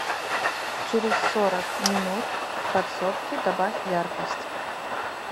через сорок минут в подсобке добавь яркость